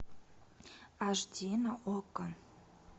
аш ди на окко